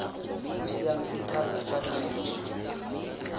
bo siameng thata jwa tiriso